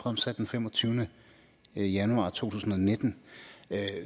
fremsat den femogtyvende januar to tusind og nitten